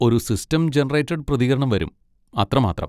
ഒരു system generated പ്രതികരണം വരും, അത്രമാത്രം.